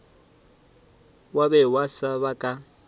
wa be wa seba ka